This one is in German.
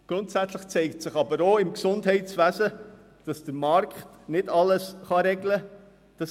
Grundsätzlich zeigt sich aber auch im Gesundheitswesen, dass der Markt nicht alles regeln kann.